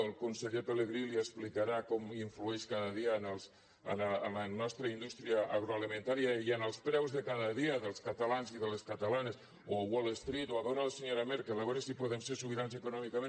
el conseller pelegrí li explicarà com influeix cada dia en la nostra indústria agroalimentària i en els preus de cada dia dels catalans i de les catalanes o a wall street o a veure la senyora merkel a veure si podem ser sobirans econòmicament